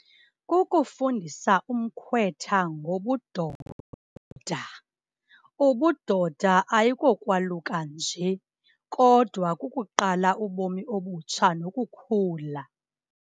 Kukufundisa umkhwetha ngobudoda. Ubudoda ayikokwaluka nje kodwa kukuqala ubomi obutsha nokukhula.